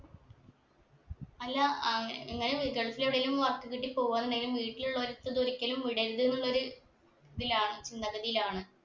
അല്ല ആഹ് ഇങ്ങനെ വിദേശത്ത് എവിടേലും work കിട്ടി പോവാ എന്നുണ്ടേൽ വീട്ടിലുള്ളോർക്ക് ഇതൊരിക്കലും വിടരുത് എന്നുള്ള ഒരു ഇതിലാ നിലവിലാണ്